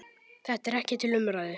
Þetta er ekki til umræðu.